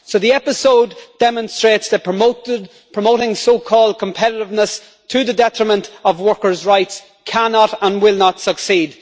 The episode demonstrates that promoting so called competitiveness to the detriment of workers' rights cannot and will not succeed.